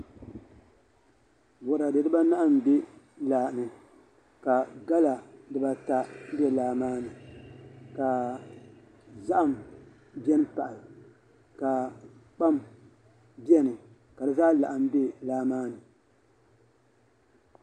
Boraadɛ dibaanahi n bɛ laa ni ka gala dibata bɛ laa maa ni ka zaham bɛni pahi ka kpam bɛni ka di zaa laɣam bɛ laa maa ni